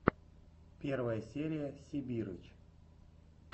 первая серия сибирыч